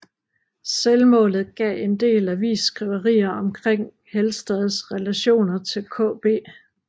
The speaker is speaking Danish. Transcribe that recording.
Selvmålet gav en del avisskriverier omkring Helstads relationer til KB